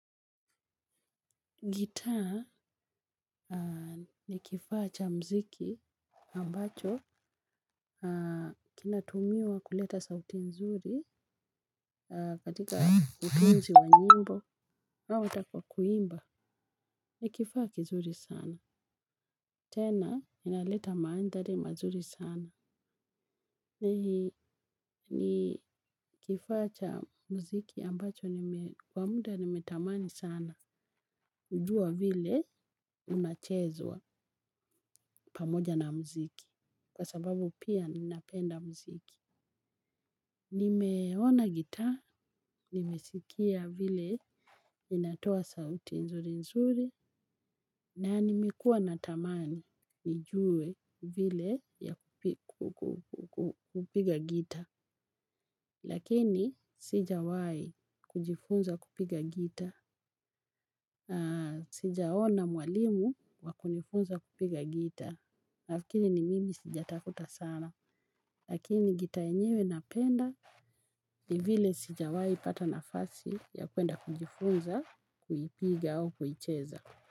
Gitaa ni kifaa cha mziki ambacho kinatumiwa kuleta sauti nzuri katika utunzi wa nyimbo. Au ata kwa kuimba. Ni kifaa kizuri sana, tena inaleta mandhari mazuri sana, ni kifaa cha muziki ambacho kwa muda nimetamani sana. Jua vile unachezwa pamoja na muziki. Kwa sababu pia ninapenda muziki. Nimeona gitaa, nimesikia vile inatoa sauti nzuri nzuri. Na nimekuwa natamani nijue vile ya kupiga gitaa. Lakini sijawi kujifunza kupiga gitaa. Sijaona mwalimu wakunifunza kupiga gitaa. Nafikiri ni mimi sijatafuta sana. Lakini gitaa enyewe napenda. Ni vile sijawahi pata nafasi ya kwenda kujifunza kuipiga au kuicheza.